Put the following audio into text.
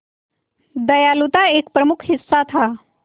दयालुता एक प्रमुख हिस्सा था